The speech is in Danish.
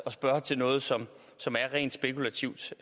spørge til noget som som er rent spekulativt